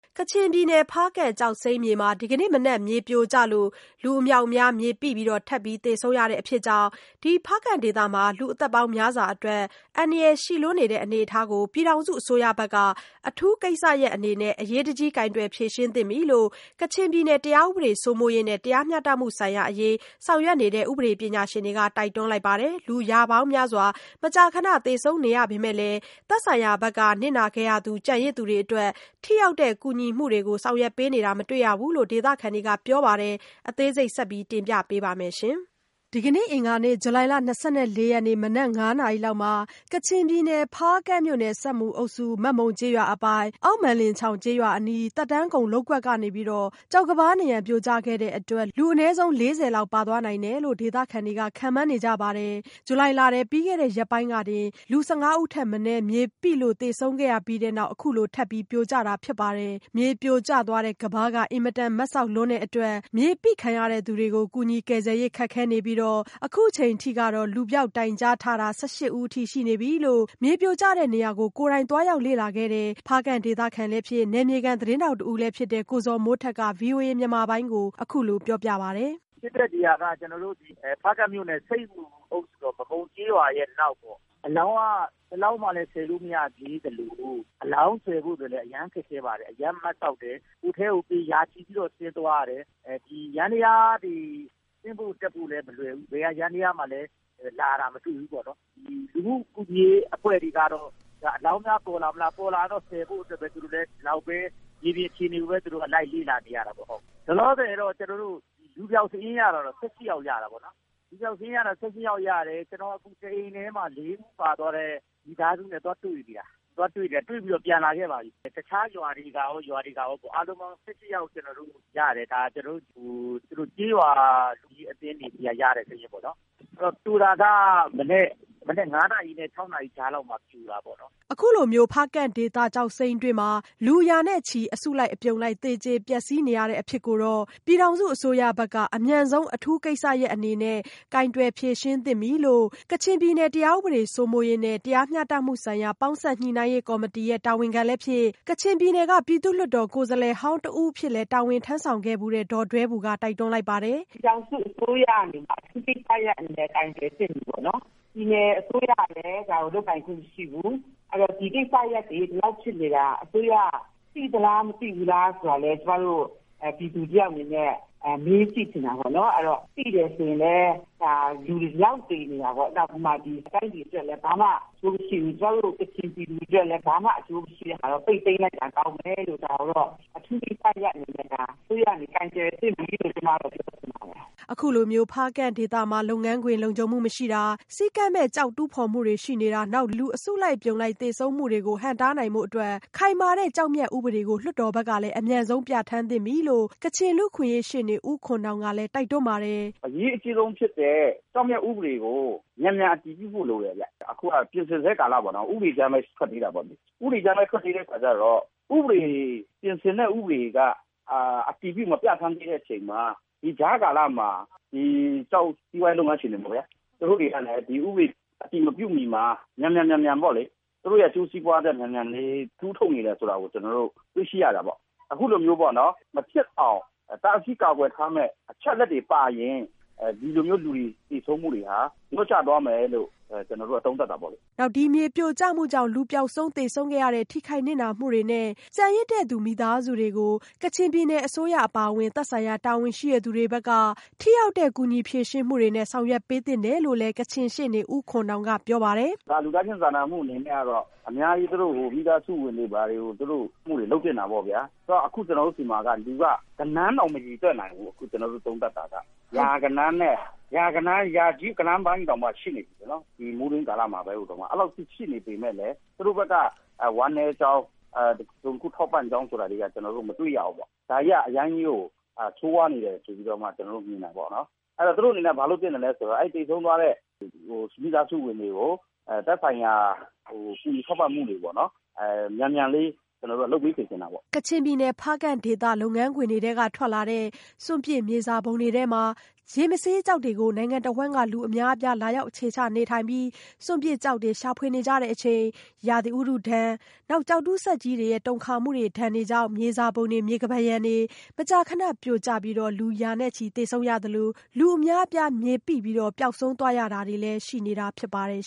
ကချင်ပြည်နယ်ဖားကန့်ကျောက်စိမ်းမြေမှာ ဒီကနေ့မနက် မြေပြိုကျလို့ လူအမြောက်အမြားမြေပိပြီး ထပ်သေဆုံးနေရတဲ့ အဖြစ်ကြောင့် ဒီဖားကန့်ဒေသရဲ့ လူ့အသက်ပေါင်းများစွာအတွက် အန္တရာယ်ရှိလွန်းနေတဲ့အနေအထားကို ပြည်ထောင်စုအစိုးရဘက်က အထူးကိစ္စရပ်အနေနဲ့ အရေးတကြီး ကိုင်တွယ်ဖြေရှင်းသင့်ပြီလို့ ကချင်ပြည်နယ် တရားဥပဒေစိုးမိုးရေးနဲ့ တရားမျှတမှုဆိုင်ရာ အရေးဆောင်ရွက်နေတဲ့ ပညာရှင်တွေက တိုက်တွန်းလိုက်ပါတယ်။ လူရာပေါင်းများစွာ မကြာခဏသေဆုံးနေရပေမဲ့လည်း သက်ဆိုင်ရာဘက်က နစ်နာခဲ့ရသူကျန်ရစ်သူတွေအတွက် ထိရောက်တဲ့ ကူညီမှုတွေ ဆောင်ရွက်ပေးတာလည်းမတွေ့ရဘူးလို့ ဒေသခံတွေကပြောပါတယ်။ အသေးစိတ် မဆုမွန် ဆက်သွယ်မေးမြန်းထားပါတယ်။ ဒီကနေ့ အင်္ဂါနေ့ ဇူလိုင်လ ၂၄ရက်နေ့ မနက် ၅း၀၀နာရီ လောက် ကချင်ပြည်နယ် ဖားကန့်မြို့နယ် ဆပ်မူအုပ်စု မက်မုံကျေးရွာအပိုင် အောက်မက်လင်ချောင် ကျေးရွာအနီး သက်တမ်းကုန်လုပ်ကွက်ကနေ ကျောက်ကမ်းပါးနံရံပြိုကျခဲ့တဲ့အတွက် လူအနည်းဆုံး လေးဆယ်လောက် ပါသွားနိုင်တယ်လို့ ဒေသခံတွေခန့်မှန်းနေကြပါတယ်။ ဒီလဇူလိုင်လထဲမှာ ပြီးခဲ့တဲ့ရက်ပိုင်းကတင် လူ၁၅ဦးထက်မနည်း မြေပိလို့သေဆုံးခဲ့ရပြီးနောက် အခုလိုထပ်ပြိုကျတာဖြစ်ပါတယ်။ မြေပြိုကျသွားတဲ့ ကမ်းပါးက အင်မတန်မတ်စောက်လွန်းတဲ့အတွက် မြေပိခံရတဲ့သူတွေကို ကူညီကယ်ဆယ်ရေး ခက်ခဲနေပြီး အခုအချိန်ထိကတော့ လူပျောက်တိုင်ကြားထားတာ ၁၈ဦးအထိရှိနေပြီလို့ မြေပြိုကျတဲ့နေရာကို သွားရောက်လေ့လာခဲ့တဲ့ ဖားကန့်ဒေသခံလည်းဖြစ် နယ်မြေခံသတင်းထောက်တဦးဖြစ်တဲ့ ကိုဇော်မိုးထက်က ဗွီအိုအေမြန်မာပိုင်းကို အခုလိုပြောပါတယ်။ "ဖြစ်တဲ့နေရာက ကျနော်တို့ ဖားကန့်မြို့နယ် ဆပ်မူအုပ်စု မက်မုံကျေးရွာအနောက်ပေါ့။ အလောင်းက ၁လောင်းမှ ဆယ်လို့မရသေးသလို အလောင်းဆယ်ဖို့ အရမ်းခက်ခဲပါတယ်။ အရမ်းမတ်စောက်တယ်။ အထဲကို ရာချီပြီးတော့ ဆင်းသွားရတယ်။ ယန္တယားတွေ ဆင်းဖို့တက်ဖို့လည်းမလွယ်ဘူး။ ဘယ်ယန္တယားမှလည်း လာတာမတွေ့ဘူးပေါ့နော်။ လူမှုကူညီရေးအဖွဲ့တွေကတော့ အလောင်းများပေါ်လာမလား၊ ပေါ်လာရင်တော့ ဆယ်ဖို့အတွက် ဒီလောက်ပဲ မြေပြင်အခြေအနေကို လိုက်လေ့လာနေရတာပေါ့။ လောလောဆည် လူပျောက်စာရင်းကတော့ ၁၈ ယောက်ရတာပေါ့နော်။ လူပျောက်စာရင်း ၁၈ ယောက်ရတယ်။ ကျနော်အခု တအိမ်ထဲမှာ ၄ ဦးပါသွားတဲ့ မိသားစုနဲ့ သွားတွေ့နေတာ ၊ တွေ့ပြီးတော့ ပြန်လာခဲ့ပါပြီ။ တခြားရွာတွေကရော အားလုံးပေါင်း ၁၈ ယောက်ကျနော်တို့ ရထားပြီ ၊ ဒါတွေက ကျေးရွာလူကြီးအသင်းတွေဆီက ရတဲ့သတင်းပေါ့နော် ၊ ပြိုတာကတော့ မနက် ၅ နာရီနဲ့ ၆ နာရီကြားထဲမှာ ပြိုတာပေါ့နော်။" အခုလို ဖားကန့်ဒေသကျောက်စိမ်းတွင်းမှာ လူရာနဲ့ချီ အစုလိုက်အပြုံလိုက်သေကြပျက်စီးနေရတဲ့အဖြစ်ကို ပြည်ထောင်စုအစိုးရဘက်က အမြန်ဆုံးအထူးကိစ္စရပ်အနေနဲ့ ကိုင်တွယ်ဖြေရှင်းသင့်နေပြီလို့ ကချင်ပြည်နယ် တရားဥပဒေစိုးမိုးရေးနဲ့ တရားမျှတမှုဆိုင်ရာ ပေါင်းစပ်ညှိနှိုင်းရေးကော်မတီရဲ့တာဝန်ခံလည်းဖြစ် ကချင်ပြည်နယ်က ပြည်သူ့လွှတ်တော်ကိုယ်စားလှယ်ဟောင်းတဦးလည်းဖြစ်ခဲ့ဖူးတဲ့ ဒေါ်ဒွဲဘူက တိုက်တွန်းလိုက်ပါတယ်။ " ပြည်ထောင်စုအစိုးရအနေနဲ့ အထူးကိစ္စရပ်အနေနဲ့ ကိုင်တွယ်သင့်ပြီပေါ့နော်။ ပြည်နယ်အစိုးရကလည်း ဒါကိုလုပ်ပိုင်ခွင့်မရှိဘူး။ အဲဒီတော့ ဒီကိစ္စရပ်တွေ ဒီလောက်ဖြစ်နေတာ အစိုးရက သိသလား မသိဘူးလားဆိုတာကို ကျမတို့ ပြည်သူတယောက်အနေနဲ့ မေးကြည့်ချင်တာပေါ့နော်။ သိတယ်ဆိုရင်လည်း လူဒီလောက်သေနေတာပေါေ့နာ်။ တိုင်းပြည်အတွက်လည်း ဘာမှ အကျိုးမရှိဘူး၊ ကချင်ပြည်သူတွေအတွက်လည်း ဘာမှ အကျိုးမရှိတာကို ပိတ်သိမ်းလိုက်တာ ကောင်းမယ်လို့ ဒါကိုတော့ အထူကိစ္စရပ်အနေနဲ့ အစိုးရကနေ ကိုင်တွယ်သင့်ပြီလို့ ပြောချင်ပါတယ်။" အခုလို ဖားကန့်ဒေသမှာ လုပ်ငန်းခွင် လုံခြုံမှုမရှိတာ စည်းကမ်းမဲ့ ကျောက်တူးဖော်မှုတွေရှိနေတာ နောက် လူတွေ အစုလိုက်အပြုံလိုက်သေဆုံးမှုတွေကို ဟန့်တားနိုင်ဖို့အတွက် ခိုင်မာတဲ့ ကျောက်မျက်ဥပဒေကို လွှတ်တော်ဘက်ကလည်း အမြန်ဆုံးပြဋ္ဌာန်းသင့်ပြီလို့ ကချင်လူ့အခွင့်အရေးရှေ့နေဦးခွန်နောင်ကလည်း တိုက်တွန်းပါတယ်၊ "အရေးအကြီးဆုံးဖြစ်တဲ့ ကျောက်မျက်ဥပဒေကို မြန်မြန်အတည်ပြုဖို့လိုတယ်။ အခုက ပြင်ဆင်စဲကာလမှာ ဥပဒေကြမ်းပဲ ထွက်သေးတာပေါ့နော်။ ဥပဒေကြမ်းပဲ ထွက်သေးတဲ့အခါကျတော့ ပြင်ဆင်တဲ့ဥပဒေ က အတည်ပြုမပြဌာန်းသေးတဲ့အခါကျတော့ ဒီကြားကာလမှာ စီးပွားရေးလုပ်ငန်းရှင်တွေပေါ့ဗျာ သူူတို့တွေက ဒီဥပဒေ အတည်မပြုမီမှာ သူတို့အကျိုးစီးပွားအတွက် မြန်မြန်လေး တူးထုတ်နေတယ်ဆိုတာကို ကျနော်တို့ တွေ့ရှိရတာပေါ့လေ။ အခုလို မဖြစ်အောင် တားဆီးကာကွယ်ထားမယ့် အချက်အလက်တွေပါရင် ဒီလိုမျိုးလူတွေ သေဆုံးမှုတွေဟာ လျော့ကျသွားမယ်လို့ သုံးသပ်တာပေါ့လေ။" နောက် မြေပြိုကျမှုတွေကြောင့် လူပျောက်ဆုံး သေဆုံးခဲ့ရတဲ့ ထိခိုက်နစ်နာမှုတွေနဲ့ ကျန်ရစ်သူမိသားစုတွေကို ကချင်ပြည်နယ်အစိုးရ သက်ဆိုင်ရာတာဝန်ရှိသူတွေဘက်က ထိရောက်တဲ့ ကူညီဖြေရှင်းမှုတွေနဲ့ ဆောင်ရွက်ပေးသင့်တယ်လို့လည်းကချင်ရှေ့နေဦးခွန်နောင်က ပြောပါတယ်။ "လူသားချင်းစာနာမှုအနေနဲ့ကတော့ အများကြီးသူတို့ကို မိသားစုဝင်တွေကို ထောက်တာတွေ လုပ်သင့်တာပေါ့ဗျာ ။ အခုကျနော်တို့ဆီမှာက လူက ဂဏန်းတောင်းမရေတွက်နိုင်ဘူး။ အခုကျနော်တို့ သုံးသပ်တာက ရာကြီးဂဏန်းပိုင်းတောင်မှ ရှိနေပြီ။ ဒီမိုးတွင်းကာလပိုင်းမှာ အဲဒီလောက်အထိ ရှိနေပေမယ့်လည်း သူတို့ ဘက်က ဝမ်းနည်းကြောင်း၊ တစုံတခုထောက်ပံ့ကြောင်းဆိုတာတွေက မတွေ့ရဘူး။ ဒါတွေက အရမ်းကို ဆိုးဝါးနေတယ်ဆိုပြီး မြင်တာပေါ့နော် ။ သူတို့အနေနဲ့ ဘာလုပ်သင့်သလဲဆိုတော့ သေဆုံးသွားတဲ့ မိသားစုဝင်တွေကို သက်ဆိုင်ရာ ကူညီထောက်ပံ့မှုတွေ မြန်မြန်လေးလုပ်ခိုင်းစေချင်တာပေါ့နော်။" ကချင်ပြည်နယ်ဖားကန့်ဒေသက ကျောက်စိမ်းတူးဖော်တဲ့ လုပ်ငန်းခွင်တွေက ထွက်လာတဲ့ စွန့်ပစ်မြေစာပုံတွေထဲမှာ ရေမဆေးကျောက်တွေကို နိုင်ငံတဝှမ်းက လူူအများအပြား လာရောက်အခြေချကြပြီး စွန့်ပစ်ကျောက်တွေကို ရှာဖွေနေကြချိန် ရာသီဥတုဒဏ်၊ ကျောက်တူးစက်ကြီးတွေနဲ့ တူးဖော်နေလို့ တုန်ခါမှုတွေနဲ့ မြေစာပုံတွေ မြေကမ်းပါးရံတွေမကြာခဏ ပြိုကျလို့ လူရာချီနဲ့သေဆုံးရတာရှိသလို လူအများအပြား မြေပိပြီး ပျောက်ဆုံးသွားရတာတွေလည်းရှိနေတာဖြစ်ပါတယ်